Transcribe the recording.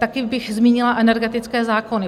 Také bych zmínila energetické zákony.